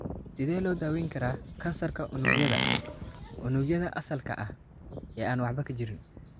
Sidee loo daweyn karaa kansarka unugyada unugyada asalka ah ee aan waxba ka jirin?